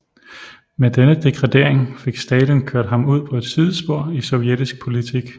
Med denne degradering fik Stalin kørt ham ud på et sidespor i sovjetisk politik